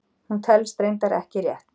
hún telst reyndar ekki rétt!